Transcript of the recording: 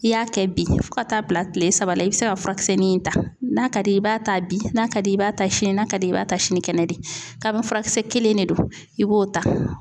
I y'a kɛ bi fo ka taa bila kile saba la i bi se ka furakisɛnin in ta n'a ka d'i ye i b'a ta bi n'a ka di ye i b'a ta sini n'a ka di ye i b'a ta sini kɛnɛ de ka furakisɛ kelen de do i b'o ta.